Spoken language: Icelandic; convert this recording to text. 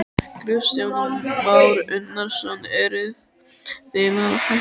Kristján Már Unnarsson: Eruð þið að hætta við?